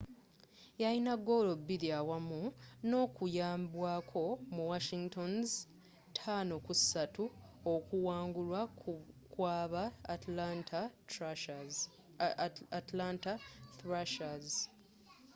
yayina goolo biiri awamu n'okuyambwako mu washington's 5-3 okuwangulwa kwaba atlanta thrashers